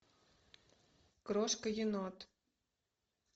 крошка енот